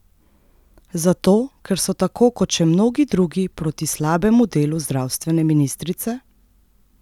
Zato, ker so tako kot še mnogi drugi proti slabemu delu zdravstvene ministrice?